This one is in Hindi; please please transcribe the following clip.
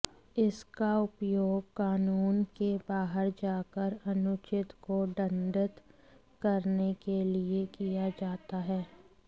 इसका उपयोग कानून के बाहर जाकर अनुचित को दंडित करने के लिए किया जाता है